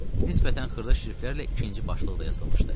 Nisbətən xırda şriftlərlə ikinci başlıq da yazılmışdı.